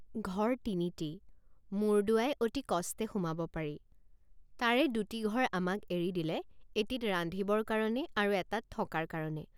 ঘৰ তিনিটি মূৰ দোৱাই অতি কষ্টে সোমাব পাৰি তাৰে দুটি ঘৰ আমাক এৰি দিলে এটিত ৰান্ধিবৰ কাৰণে আৰু এটাত থকাৰ কাৰণে।